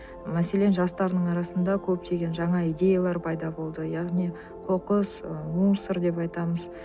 мәселен жастардың арасында көптеген жана идеялар пайда болды яғни қоқыс ы мусор деп айтамыз